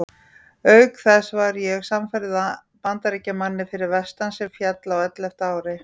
Auk þess var ég samferða Bandaríkjamanni fyrir vestan sem féll á ellefta ári.